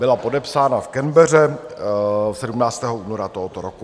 Byla podepsána v Canbeře 17. února tohoto roku.